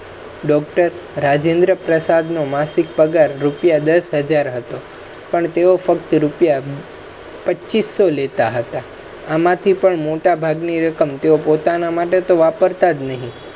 Doctor Rajendra Prasad નો માસિક પગાર રુપિયા દસ હજાર હતો, પણ એ ફક્ત રુપિયા પચ્ચીસો લેતા હતા આમાથી પણ મોટા ભાગની રકમ પોતાના માટે તો વાપરતા નહિ